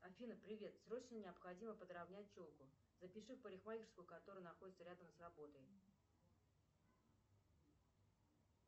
афина привет срочно необходимо подравнять челку запиши в парикмахерскую которая находится рядом с работой